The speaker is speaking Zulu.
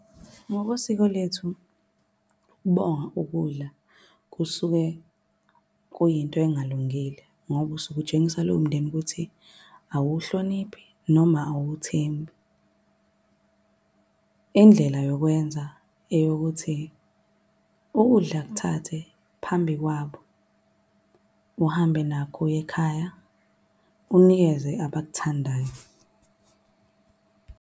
Ngokosiko lethu, ukubonga ukudla kusuke kuyinto engalungile ngoba usuke utshengisa lowo mndeni ukuthi awuhloniphi noma awuthembi. Indlela yokwenza eyokuthi, ukudla kuthathe phambi kwabo, uhambe nakho uye ekhaya unikeze abakuthandayo.